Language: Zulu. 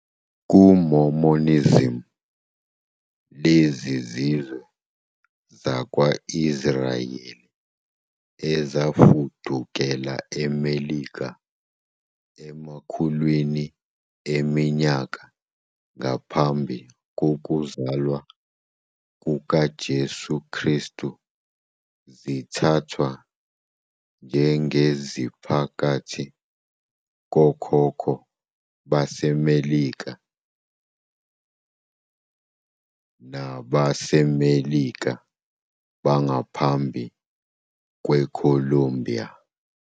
KuMormonism, lezi zizwe zakwa-Israyeli ezafudukela eMelika emakhulwini eminyaka ngaphambi kokuzalwa kukaJesu Kristu zithathwa njengeziphakathi kokhokho baseMelika baseMelika bangaphambi kweColombia.